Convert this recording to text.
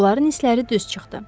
Onların hisləri düz çıxdı.